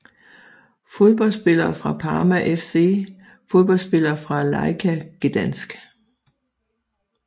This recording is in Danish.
Fodboldspillere fra Parma FC Fodboldspillere fra Lechia Gdańsk